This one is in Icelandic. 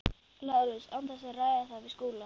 Lárus án þess að ræða það við Skúla?